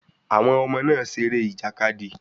Àwọn ọmọ náà seré ìjàkadì